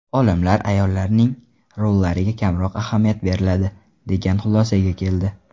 Olimlar ayollarning rollariga kamroq ahamiyat beriladi, degan xulosaga keldi.